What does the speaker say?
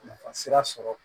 Nafa sira sɔrɔ